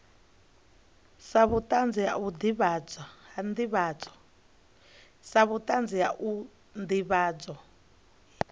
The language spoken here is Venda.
sa vhutanzi ha u ndivhadzo